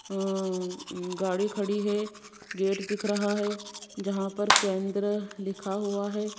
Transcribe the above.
अ अं गाड़ी खड़ी है गेट दिख रहा है जहां पर केंद्र लिखा हुआ है।